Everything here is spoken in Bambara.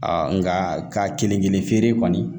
nka ka kelen kelen feere kɔni